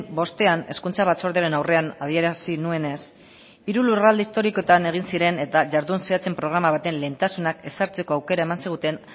bostean hezkuntza batzordearen aurrean adierazi nuenez hiru lurralde historikoetan egin ziren eta jardun zehatzen programa baten lehentasunak ezartzeko aukera eman ziguten